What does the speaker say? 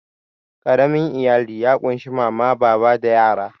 Ƙaramin iyali ya ƙunshi mama, baba da yara.